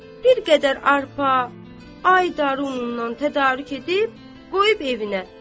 Bir qədər arpa, aydar unundan tədarük edib qoyub evinə.